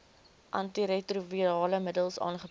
antiretrovirale middels aangebied